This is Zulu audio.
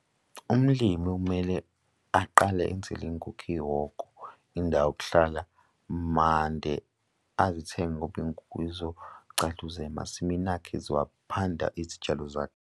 Umlimi kumele aqale enzele iy'nkukhu ihhoko, indawo yokuhlala mande azithenge ngoba iy'nkukhu zixogcaluza emasimini akhe ziwaphanda izitshalo zakhe.